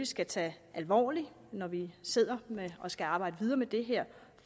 skal tage alvorligt når vi i sidder og skal arbejde videre med det her